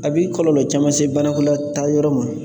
A bɛ kɔlɔlɔ caman se banakɔtaayɔrɔ ma